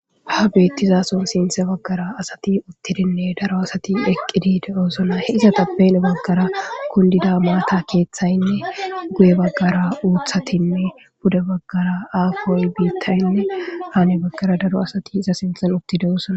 Ha betizaso sintha bagara asati uttidinne asati eqidi de'osons izetappe heni bagara kundida maata keethaynne guye nagara uthatinne pude bagara apoy bitay nne hani bagara daro asati iza sinthan uttidosona